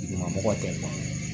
Duguma mɔgɔ tɛ ban